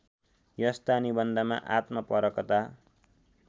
यस्ता निबन्धमा आत्मपरकता